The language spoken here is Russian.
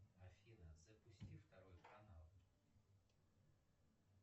афина запусти второй канал